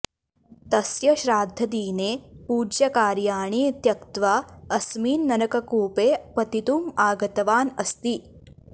तस्य श्राद्धदिने पूज्यकार्याणि त्यक्त्वा अस्मिन् नरककूपे पतितुम् आगतवान् अस्ति